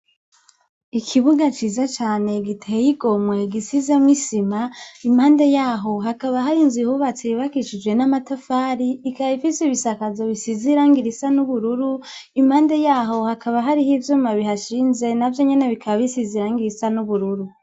Ikibuga ciza cane giteye igomwe gisizemwo isima impande yaho hakaba hari ninzu yubatse yubakishijwe n'amatafari ikaba ifise ibisakazo bisize irangi risa n'ubururu impande yaho hakaba hariho ivyuma bihashinze navyo nyene bikaba bisize irangi risa n'ubururu.